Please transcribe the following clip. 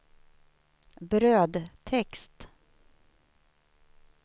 brödtext